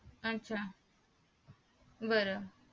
आच्छा बर